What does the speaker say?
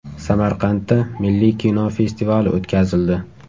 Samarqandda milliy kino festivali o‘tkazildi.